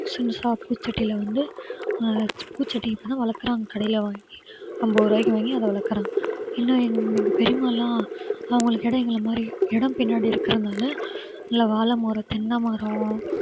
சின்னதா பூச்சட்டியில வந்து அஹ் பூச்செடி இப்பதான் வளர்க்கிறாங்க கடையில வாங்கி அம்பது ரூபாய்க்கு வாங்கி அதை வளர்க்கிறாங்க இன்னும் எங்~ எங்க பெரிம்மாயெல்லாம் அவங்களுக்கு இடம் எங்களை மாதிரி இடம் பின்னாடி இருக்கிறதுனால நல்ல வாழைமரம், தென்னை மரம்